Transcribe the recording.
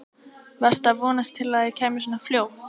Varstu að vonast til að það kæmi svona fljótt?